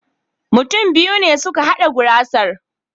Mutum biyu ne suka hada gurasar.